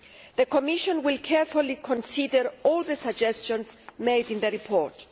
The Commission will carefully consider all the suggestions made in the report.